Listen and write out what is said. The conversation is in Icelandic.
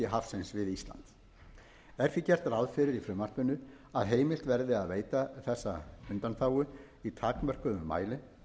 hafsins við ísland er því gert ráð fyrir í frumvarpinu að heimilt verði að veita þessa undanþágu í takmörkuðum mæli